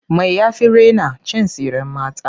Me ya fi raina? Cin tsiren mata.